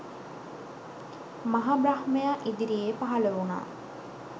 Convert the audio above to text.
මහ බ්‍රහ්මයා ඉදිරියේ පහළ වුණා.